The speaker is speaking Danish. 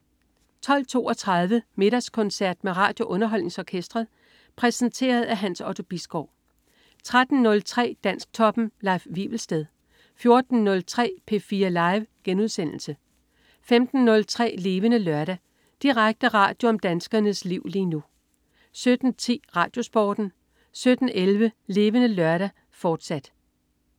12.32 Middagskoncert med RadioUnderholdningsOrkestret. Præsenteret af Hans Otto Bisgaard 13.03 Dansktoppen. Leif Wivelsted 14.03 P4 Live* 15.03 Levende Lørdag. Direkte radio om danskernes liv lige nu 17.10 RadioSporten 17.11 Levende Lørdag, fortsat